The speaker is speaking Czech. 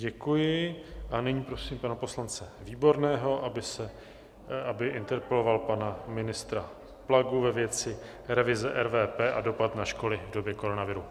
Děkuji a nyní prosím pana poslance Výborného, aby interpeloval pana ministra Plagu ve věci revize RVP a dopad na školy v době koronaviru.